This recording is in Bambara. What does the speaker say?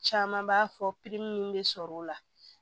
Caman b'a fɔ minnu bɛ sɔrɔ o la